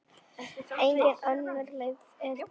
Engin önnur leið er til.